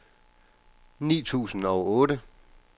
ni tusind og otte